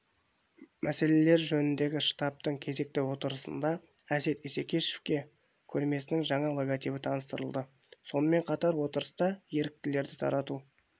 мәселелері жөніндегі штабтың кезекті отырысындаәсет исекешевке көрмесінің жаңа логотипі таныстырылды сонымен қатар отырыста еріктілерді тарту